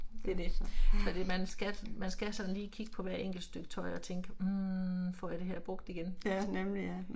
Ja. Ja, nemlig ja